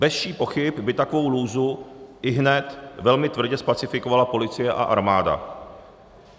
Bez vší pochyby by takovou lůzu ihned velmi tvrdě zpacifikovala policie a armáda.